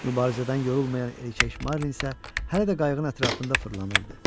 Mübarizədən yorulmayan erkək Marlin isə hələ də qayığın ətrafında fırlanırdı.